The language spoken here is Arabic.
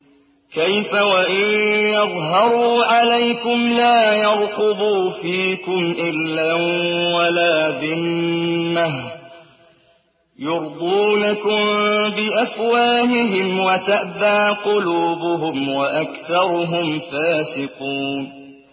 كَيْفَ وَإِن يَظْهَرُوا عَلَيْكُمْ لَا يَرْقُبُوا فِيكُمْ إِلًّا وَلَا ذِمَّةً ۚ يُرْضُونَكُم بِأَفْوَاهِهِمْ وَتَأْبَىٰ قُلُوبُهُمْ وَأَكْثَرُهُمْ فَاسِقُونَ